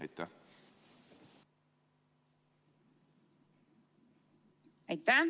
Aitäh!